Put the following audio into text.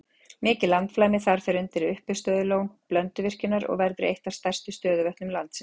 Mikið landflæmi þar fer undir uppistöðulón Blönduvirkjunar og verður eitt af stærstu stöðuvötnum landsins.